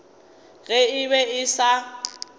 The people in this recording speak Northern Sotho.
ge e be e sa